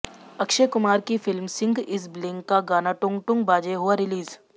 अक्षय कुमार की film Singh is bling का गाना टुंग टुंग बाजे हुआ रिलीज़